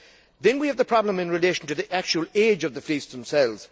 Then we have the problem in relation to the actual age of the fleets themselves.